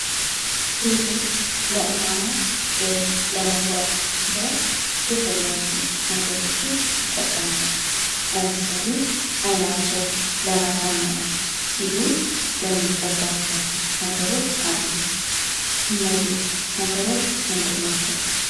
ሴቶች ለማማር ወይም ለመዋብ ብለው የተለያዩ ነገሮችን ይጠቀማሉ። ለምሳሌ ዓይናቸውን ለማሳመር ሲሉ የሚቀቧቸው ነገሮች አሉ። እነዚህ ነገሮች ምንድን ናቸው?